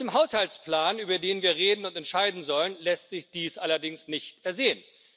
Aus dem Haushaltsplan, über den wir reden und entscheiden sollen, lässt sich dies allerdings nicht ersehen.